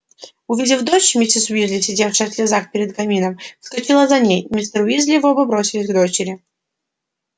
увидев дочь миссис уизли сидевшая в слезах перед камином вскочила за ней мистер уизли и оба бросились к дочери